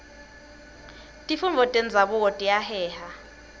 tifundvo tenzabuko tiyaheha